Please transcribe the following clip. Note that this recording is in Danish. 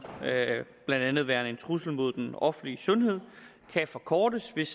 blandt andet værende en trussel mod den offentlige sundhed kan forkortes hvis